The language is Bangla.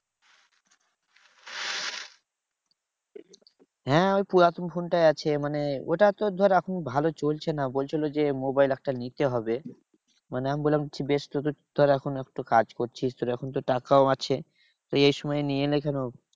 হ্যাঁ ওই পুরাতন ফোনটাই আছে। মানে ওটা তোর ধর এখন ভালো চলছে না। বলছিলো যে মোবাইল একটা নিতে হবে। মানে আমি বললাম বেশ তো তোর ধর এখন একটু কাজ করছিস, তোর এখন তো টাকাও আছে তুই এই সময় কেন?